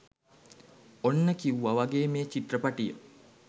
ඔන්න කිවුව වගේ මේ චිත්‍රපටිය